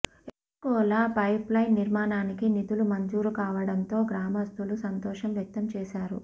ఎలాగోలా పైపులైన్ నిర్మాణానికి నిధులు మంజూరు కావడంతో గ్రామస్థులు సంతోషం వ్యక్తంచేశారు